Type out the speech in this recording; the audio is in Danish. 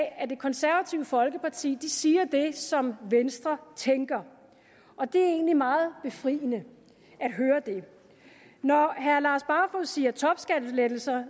at det konservative folkeparti siger det som venstre tænker og det er egentlig meget befriende at høre det når herre lars barfoed siger topskattelettelser